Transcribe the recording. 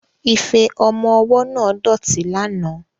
Ife ọmọ ọwọ́ náà dọ̀tí lánàá